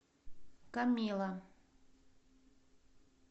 камилла